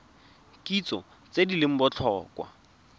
kitso tse di leng botlhokwa